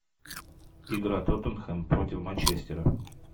игра тоттенхэм против манчестера